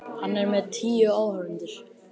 Hann er með tíu áhorfendur.